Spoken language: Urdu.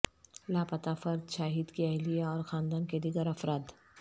لاپتہ فرد شاہد کی اہلیہ اور خاندان کے دیگر افراد